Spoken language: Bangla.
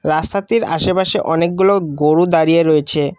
রাস্তাটির আশেপাশে অনেকগুলো গোরু দাঁড়িয়ে রয়েছে।